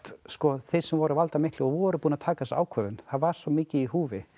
þeim sem voru valdamiklir og voru búnir að taka þessa ákvörðun það var svo mikið í húfi